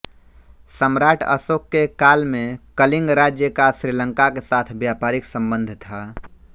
सम्राट अशोक के काल में कलिंग राज्य का श्रीलंका के साथ व्यापारिक संबंध था